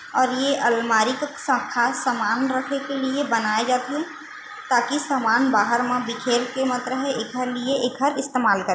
और ये अलमारी को स खास समान रखे के लिए बनाए जाथे ताकि समान बाहर म बिखेर के मत रहय एखर लिए एखर इस्तेमाल कर--